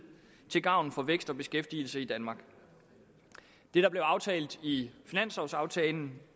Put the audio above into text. til gavn for vækst og beskæftigelse i danmark det der blev aftalt i finanslovaftalen